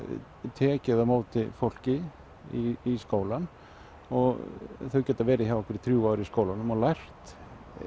tekið á móti fólki í skólann og þau geta verið hjá okkur í þrjú ár í skólanum og lært